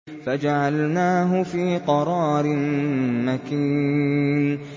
فَجَعَلْنَاهُ فِي قَرَارٍ مَّكِينٍ